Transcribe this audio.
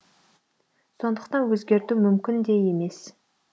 сондықтан өзгерту мүмкін де емес